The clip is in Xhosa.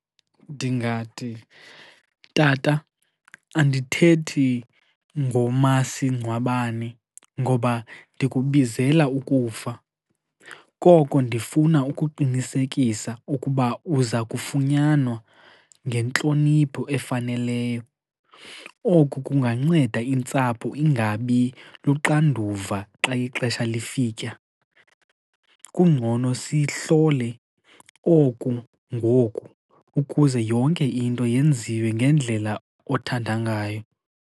Ndingathi, tata, andithethi ngomasingcwabane ngoba ndikubizela ukufa. Koko ndifuna ukuqinisekisa ukuba uza kufunyanwa ngentlonipho efaneleyo. Oku kunganceda intsapho ingabi luxanduva xa ixesha lifika. Kungcono sihlole oku ngoku ukuze yonke into yenziwe ngendlela othanda ngayo.